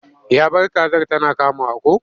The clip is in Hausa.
Ya bar kazar tana kamawa ko?